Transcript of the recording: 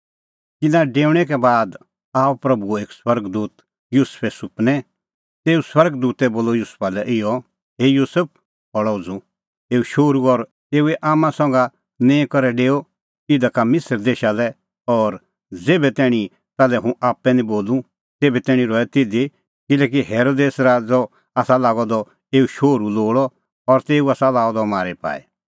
तिन्नां डेऊणैं का बाद आअ प्रभूओ एक स्वर्ग दूत युसुफे सुपनै तेऊ स्वर्ग दूतै बोलअ युसुफा लै इहअ हे युसुफ खल़अ उझ़ू एऊ शोहरू और एऊए आम्मां संघा निंईं करै डेओआ इधा का मिसर देशा लै और ज़ेभै तैणीं ताल्है हुंह आप्पै निं बोलूं तेभै तैणीं रहै तिधी किल्हैकि हेरोदेस राज़अ आसा लागअ द एऊ शोहरू लोल़अ और तेऊ आसा लाअ द अह मारी पाई